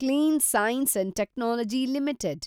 clean science and technology limited